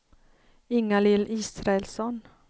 Ingalill Israelsson